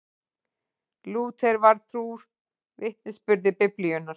Lúther var trúr vitnisburði Biblíunnar.